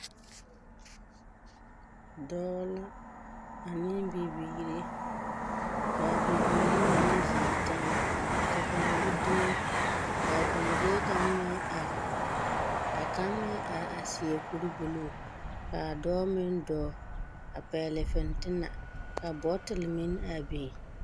Dɔɔ la ane bibiiri. Ka a bibiiri mine zeŋ teŋɛ, ka kaŋa gbi dumo, ka a dɔɔlee kaŋ meŋ are. Ka kaŋmeŋare a seɛ kuri buluu. Ka a dɔɔ meŋ dɔɔ a pɛgele fentena ka bɔtole meŋ a biŋ.